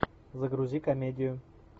загрузи комедию